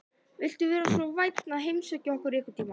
Viltu vera svo vænn að heimsækja okkur einhvern tímann?